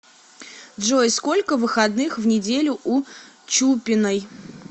джой сколько выходных в неделю у чупиной